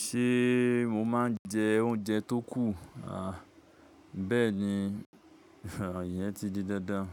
Ṣé mo máa ń jẹ oúnjẹ tó kù? À, bẹ́ẹ̀ni, ìyẹn ti di dandan.